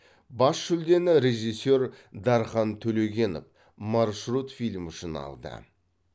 бас жүлдені режиссер дархан төлегенов маршрут фильмі үшін алды